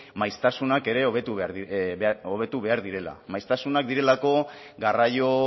maiztasunak ere hobetu behar direla maiztasunak direlako garraio